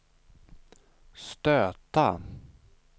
stöta